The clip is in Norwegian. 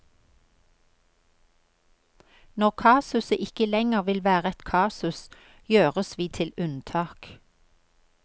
Når kasuset ikke lenger vil være et kasus, gjøres vi til unntak.